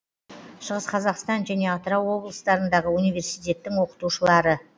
шығыс қазақстан және атырау облыстарындағы университеттің оқытушылары